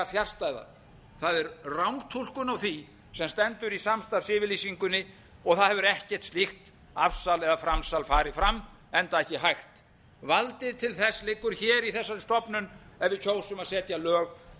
fjarstæða það er rangtúlkun á því sem stendur í samstarfsyfirlýsingunni og það hefur ekkert slíkt afsal eða framsal farið fram enda ekki hægt valdið til þess liggur hér í þessari stofnun ef við kjósum að setja lög um eitthvað sem að